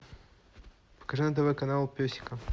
покажи на тв канал песика